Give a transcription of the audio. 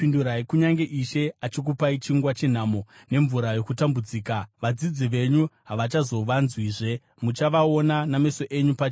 Kunyange Ishe achikupai chingwa chenhamo nemvura yokutambudzika, vadzidzi venyu havachazovanzwizve; muchavaona nameso enyu pachenyu.